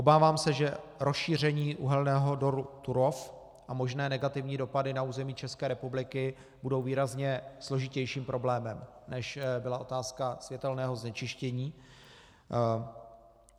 Obávám se, že rozšíření uhelného dolu Turów a možné negativní dopady na území České republiky budou výrazně složitějším problémem, než byla otázka světelného znečištění.